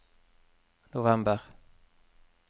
november